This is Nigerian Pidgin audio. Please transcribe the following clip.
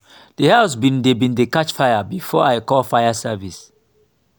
d house bin dey bin dey catch fire before i call fire service.